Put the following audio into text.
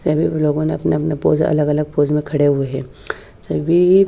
सभी लोगो ने अपना अपना पोस अलग अलग पोस में खड़े हुए है सभी --